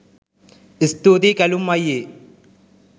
ස්තුතියි කැලුම් අයියේ!